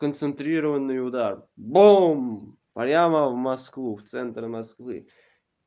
концентрированный удар бум прямо в москву в центр москвы